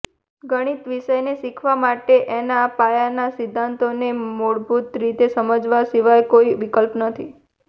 ગણિત વિષયને શીખવા માટે એના પાયાનાં સિધ્ધાંતોને મૂળભૂત રીતે સમજવા સિવાય કોઈ વિકલ્પ નથી